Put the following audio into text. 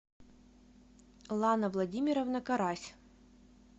лана владимировна карась